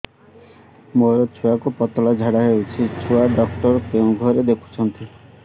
ମୋର ଛୁଆକୁ ପତଳା ଝାଡ଼ା ହେଉଛି ଛୁଆ ଡକ୍ଟର କେଉଁ ଘରେ ଦେଖୁଛନ୍ତି